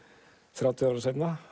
þrjátíu árum seinna